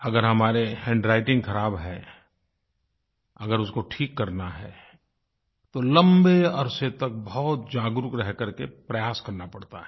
अगर हमारी हैंडव्राइटिंग ख़राब है अगर उसको ठीक करना है तो लंबे अरसे तक बहुत जागरूक रहकर के प्रयास करना पड़ता है